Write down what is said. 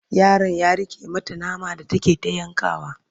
yaron ya rike mata nama da take ta yankawa